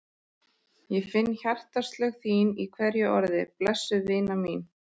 Ég fann hjartaslög þín í hverju orði, blessuð vina mín.